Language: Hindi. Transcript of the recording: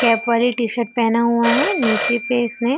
कैप वाले टी -शर्ट पेहना हुआ है नीचे पे इसने --